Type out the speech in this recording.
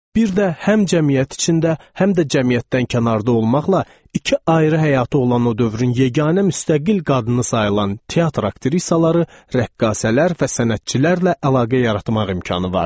Bir də həm cəmiyyət içində, həm də cəmiyyətdən kənarda olmaqla iki ayrı həyatı olan o dövrün yeganə müstəqil qadını sayılan teatr aktrisaları, rəqqasələr və sənətçilərlə əlaqə yaratmaq imkanı vardı.